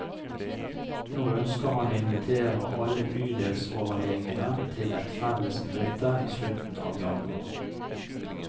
Nå ønsker han å invitere alle bydelsoverlegene til et felles møte i slutten av januar.